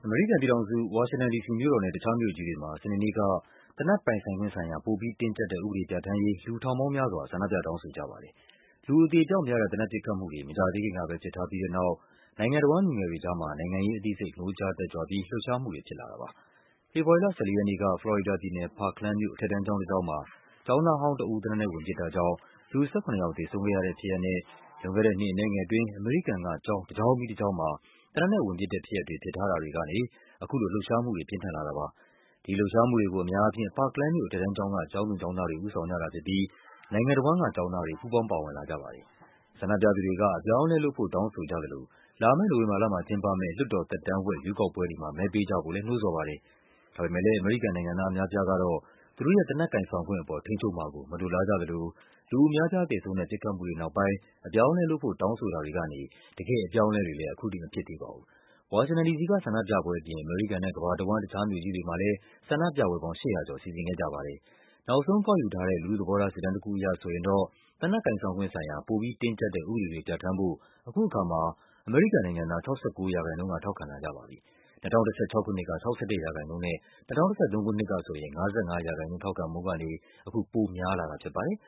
မေရိကန်ပြည်ထောင်စု၊ ဝါရှင်တန်ဒီစီမြို့တော်နဲ့ တခြားမြို့ကြီးတွေမှာ စနေနေ့က သေနတ်ပိုင်ဆိုင်ခွင့်ဆိုင်ရာ ပိုပြီးတင်းကျပ်တဲ့ ဥပဒေပြဌာန်းရေး လူထောင်ပေါင်းများစွာ ဆန္ဒပြ တောင်းဆိုကြပါတယ်။ လူအသေအပျောက်များတဲ့ သေနတ်ပစ်ခတ်မှုတွေ မကြာသေးခင်ကပဲ ဖြစ်ထားပြီးတဲ့နောက် နိုင်ငံတဝှမ်း လူငယ်တွေကြားမှာ နိုင်ငံရေးအသိစိတ် နိုးကြားတက်ကြွပြီး လှုပ်ရှားမှုတွေ ဖြစ်လာတာပါ။ ဖေဖော်ဝါရီလ ၁၄ ရက်နေ့က၊ ဖလော်ရီဒါပြည်နယ်၊ Parkland မြို့က အထက်တန်းကျောင်းတကျောင်းမှာ ကျောင်းသားဟောင်း တဦး သေနတ်နဲ့ဝင်ပစ်တာကြောင့် လူ ၁၇ ယောက် သေဆုံးခဲ့ရတဲ့ဖြစ်ရပ်နဲ့ လွန်ခဲ့တဲ့နှစ်အနည်းငယ်အတွင်း အမေရိကန်က ကျောင်းတကျောင်းပြီးတကျောင်းမှာ သေနတ်နဲ့ဝင်ပစ်တဲ့ဖြစ်ရပ်တွေ ဖြစ်ထားတာတွေကနေ အခုလိုလှုပ်ရှားမှုတွေ ပြင်းထန်လာ တာပါ။ ဒီလှုပ်ရှားမှုတွေကို အများအားဖြင့် Parkland မြို့ အထက်တန်းကျောင်းက ကျောင်းသူကျောင်းသားတွေ ဦးဆောင်ကြ တာဖြစ်ပြီး နိုင်ငံတဝန်းကကျောင်းသားတွေ ပူးပေါင်းပါဝင်လာကြတာဖြစ်ပါတယ်။ ဆန္ဒပြသူတွေက အပြောင်းအလဲလုပ်ဖို့ တောင်းဆိုကြသလို လာမယ့်နိုဝင်ဘာလမှာကျင်းပမယ့် လွှတ်တော်သက်တမ်းဝက် ရွေးကောက်ပွဲတွေမှာ မဲပေးကြဖို့လည်း နှိုးဆော်ပါတယ်။ ဒါပေမဲ့လည်း အမေရိကန်နိုင်ငံသားအများအပြားကတော့ သူတို့ရဲ့ သေနတ်ကိုင်ဆောင်ခွင့်အပေါ် ထိန်းချုပ်မှာကို မလိုလားကြ သလို လူအများအပြားသေဆုံးတဲ့ ပစ်ခတ်မှုတွေနောက်ပိုင်း အပြောင်းအလဲလုပ်ဖို့ တောင်းဆိုတာတွေကနေ တကယ့် အပြောင်း အလဲတွေလည်း ခုထိမဖြစ်သေးပါဘူး။ ဝါရှင်တန်ဒီစီက ဆန္ဒပြပွဲအပြင် အမေရိကန်နဲ့ ကမ္ဘာတဝှမ်း တခြားမြို့ကြီးတွေမှာလည်း ဆန္ဒပြပွဲပေါင်း ၈၀၀ ကျော် စီစဉ်ခဲ့ကြပါတယ်။ နောက်ဆုံးကောက်ယူထားတဲ့ လူထုသဘောထားစစ်တမ်းတခုအရဆိုရင်တော့ သေနတ်ကိုင်ဆောင်ခွင့်ဆိုင်ရာ ပိုပြီးတင်းကျပ်တဲ့ ဥပဒေတွေပြဌာန်းဖို့ အခုအခါမှာ အမေရိကန်နိုင်ငံသား ၆၉% က ထောက်ခံလာကြပါပြီ။ ၂၀၁၆ ခုနှစ်က ၆၁% နဲ့ ၂၀၁၃ ခုနှစ်က ဆိုရင် ၅၅% ထောက်ခံမှုကနေဆို အခု ပိုများလာတာဖြစ်ပါတယ်